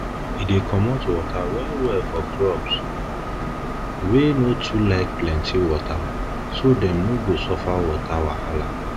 e dey comot water well well for crops wey crops wey no too like plenty water so dem no go suffer water wahala